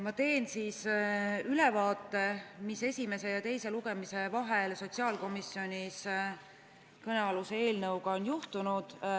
Ma teen siis ülevaate, mis esimese ja teise lugemise vahel sotsiaalkomisjonis kõnealuse eelnõuga on juhtunud.